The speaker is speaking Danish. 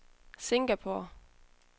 Singapore